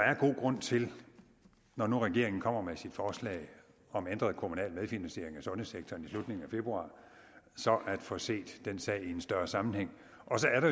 er god grund til når nu regeringen kommer med sit forslag om ændret kommunal medfinansiering af sundhedssektoren i slutningen af februar at få set sagen i en større sammenhæng